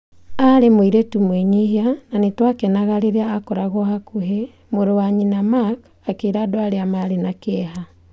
Aarĩ mũĩrĩtu mwĩnyihia na nĩ twakenaga rĩrĩa akoragwo hakuhĩ, mũrũ wa nyina- Mark akĩĩra andũ arĩa marĩ na kĩeha.